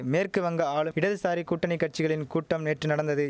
மேற்கு வங்க ஆளும் இடதுசாரி கூட்டணி கட்சிகளின் கூட்டம் நேற்று நடந்தது